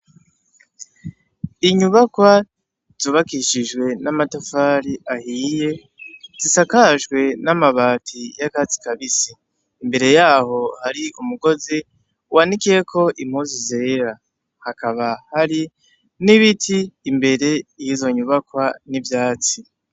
Inyubakwa zubakishije n' amatafari ahiye isakajwe n' amabati y' akatsi kabisi imbere yaho hari umugozi wanikiyeko impuzu zera hakaba hari n' ibiti imbere yizo nyubakwa n' ivyatsi.